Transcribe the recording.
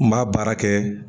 N b'a baara kɛ